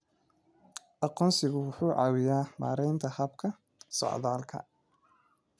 Aqoonsigu wuxuu caawiyaa maaraynta habka socdaalka.